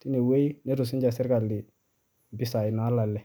teniewoji netum sinye serkali nolale.